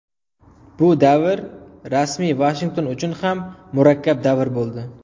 Bu davr rasmiy Vashington uchun ham murakkab davr bo‘ldi.